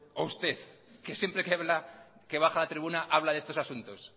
o usted que siempre que baja a la tribuna habla de estos asuntos